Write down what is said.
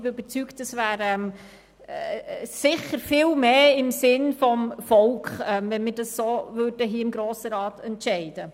Ich bin überzeugt, dass es sicher viel mehr im Sinn des Volkes wäre, wir würden hier im Grossen Rat so entscheiden.